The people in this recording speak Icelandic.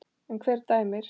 En hver dæmir?